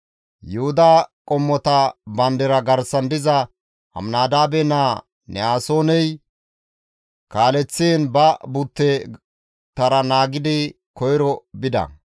Yuhuda qommota bandira garsan diza Aminadaabe naa Ne7asooney kaaleththiin ba butte tara naagidi koyro bida.